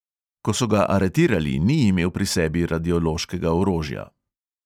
Ko so ga aretirali, ni imel pri sebi radiološkega orožja.